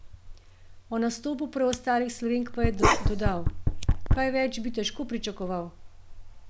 O nastopu preostalih Slovenk pa je dodal: "Kaj več bi težko pričakoval.